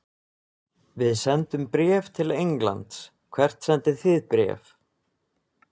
Við sendum bréf til Englands. Hvert sendið þið bréf?